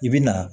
I bi na